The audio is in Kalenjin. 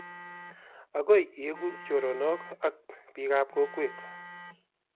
agoi ieku choronok ak biik ab kokwet